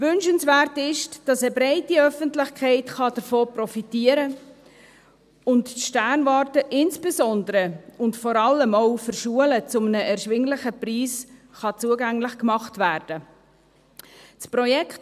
Wünschenswert ist, dass eine breite Öffentlichkeit davon profitieren kann und die Sternwarte insbesondere und vor allem auch für Schulen zu einem erschwinglichen Preis zugänglich gemacht werden kann.